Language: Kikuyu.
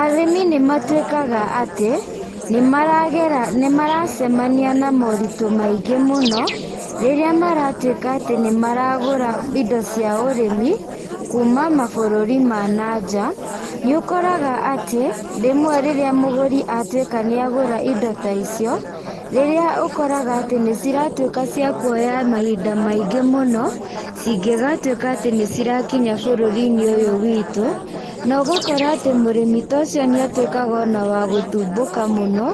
Arĩmi nĩ matuĩkaga atĩ nĩ maragera, nĩ maracemania na moritũ maingĩ mũno, rĩrĩa maratũĩka atĩ nĩ maragũra indo cia ũrĩmi, kuuma mabũrũri ma na nja, nĩ ũkoraga atĩ rĩmwe rĩrĩa mũgũri atuĩka nĩ agũra indo ta icio, rĩrĩa ũkoraga atĩ nĩ ciratuĩka cia kwoya mahinda maingĩ mũno, cingĩgatuĩka atĩ nĩ cirakinya bũrũri-inĩ ũyũ wĩtũ, na ũgakora atĩ mũrĩmi ta ũcio nĩ atuĩkaga ona wa gũthubũka mũno,